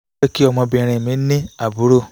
kí ọmọbìnrin mi ní àbúrò